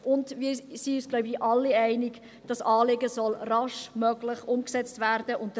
Wir sind uns, so glaube ich, alle einig, dass dieses Anliegen raschestmöglich umgesetzt werden soll.